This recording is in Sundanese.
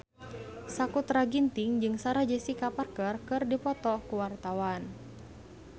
Sakutra Ginting jeung Sarah Jessica Parker keur dipoto ku wartawan